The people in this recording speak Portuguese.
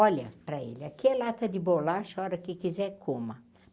Olha para ele, aquela lata de bolacha, a hora que quiser, coma.